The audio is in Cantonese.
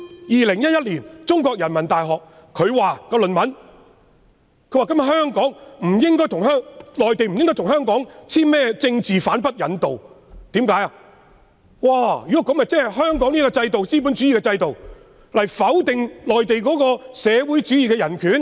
2011年，中國人民大學發表的論文指，內地不應該跟香港簽署政治犯不引渡協議，否則便相當於用香港資本主義制度否定內地社會主義的人權。